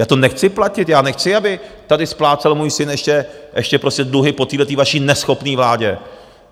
Já to nechci platit, já nechci, aby tady splácel můj syn ještě prostě dluhy po téhle vaší neschopné vládě.